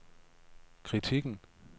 kritikken